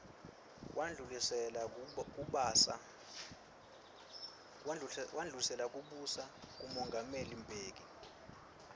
wandlulisela kubusa kumongameli mbeki